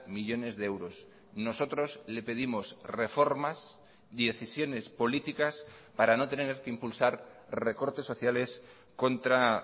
millónes de euros nosotros le pedimos reformas decisiones políticas para no tener que impulsar recortes sociales contra